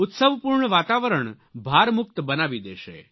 ઉત્સવપૂર્ણ વાતાવરણ ભારમુક્ત બનાવી દેશે